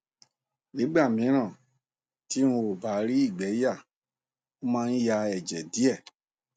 nígbà míràn tí n ò bá rí ìgbé yà mo máa ń ya ẹjẹ díẹ